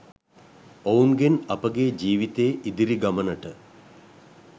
ඔවුන්ගෙන් අපගේ ජීවිතයේ ඉදිරි ගමනට